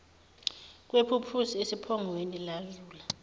kwephuphusi esiphongweni lazula